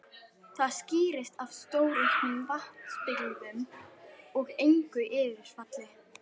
Það skýrist af stórauknum vatnsbirgðum og engu yfirfalli.